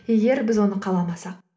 егер біз оны қаламасақ